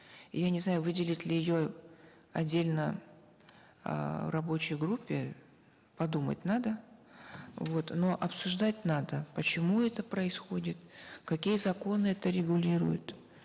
я не знаю выделить ли ее в отдельно эээ рабочей группе подумать надо вот но обсуждать надо почему это происходит какие законы это регулируют